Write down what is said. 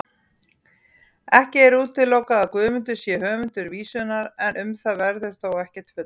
Ekki er útilokað að Guðmundur sé höfundur vísunnar, en um það verður þó ekkert fullyrt.